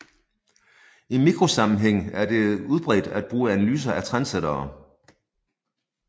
I mikrosammenhæng er det udbredt at bruge analyser af trendsættere